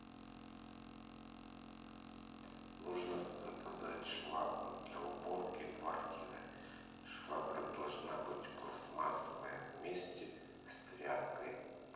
нужно заказать швабру для уборки квартиры швабра должна быть пластмассовая вместе с тряпкой